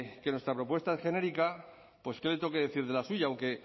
que nuestra propuesta es genérica pues qué le tengo que decir de la suya aunque